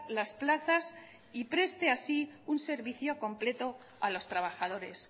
las plazas y preste así un servicio completo a los trabajadores